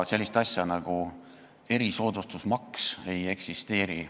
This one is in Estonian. Sellist asja nagu erisoodustusmaks ei eksisteeri.